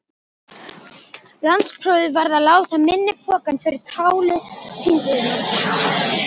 Landsprófið varð að láta í minni pokann fyrir táli hringiðunnar.